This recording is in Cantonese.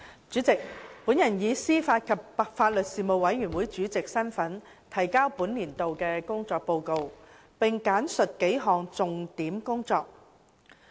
主席，本人以司法及法律事務委員會主席身份，提交本年度的工作報告，並簡述幾項重點工作。